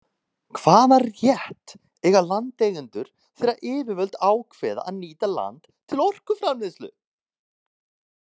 Hvaða rétt eiga landeigendur þegar yfirvöld ákveða að nýta land til orkuframleiðslu?